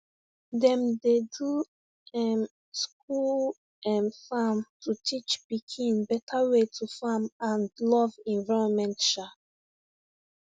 dem dey do um school um farm to teach pikin better way to farm and love environment um